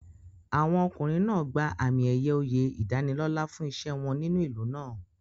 Àwọn ọkùnrin náà gba àmì-ẹ̀yẹ oyè ìdánilọ́là fún iṣẹ́ wọn nínú ìlú náà.